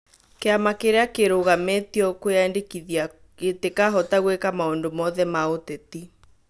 Kĩama kĩrĩa kĩrũgamĩtio kwiyandĩkithia gĩtikahota gwĩka maũndũ mothe ma ũtetĩ